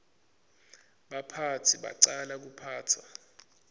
baphatsi bacala kuphatsa